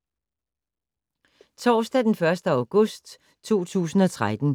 Torsdag d. 1. august 2013